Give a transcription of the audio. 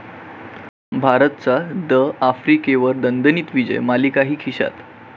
भारताचा द.आफ्रिकेवर दणदणीत विजय, मालिकाही खिश्यात